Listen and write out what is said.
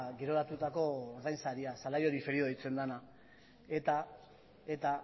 geroratutako ordainsaria salario diferido deitzen dena eta